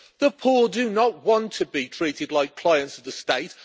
The poor do not want to be treated like clients of the state